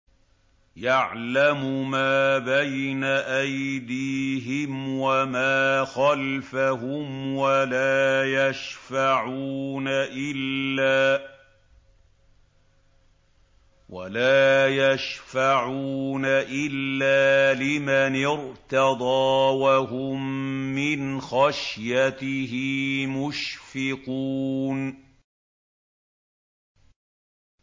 يَعْلَمُ مَا بَيْنَ أَيْدِيهِمْ وَمَا خَلْفَهُمْ وَلَا يَشْفَعُونَ إِلَّا لِمَنِ ارْتَضَىٰ وَهُم مِّنْ خَشْيَتِهِ مُشْفِقُونَ